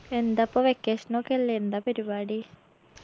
എന്താപ്പോ vacation ഒക്കെയല്ലേ എന്താ പരിപാടി